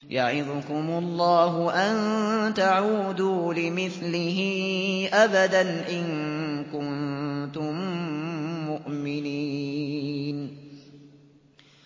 يَعِظُكُمُ اللَّهُ أَن تَعُودُوا لِمِثْلِهِ أَبَدًا إِن كُنتُم مُّؤْمِنِينَ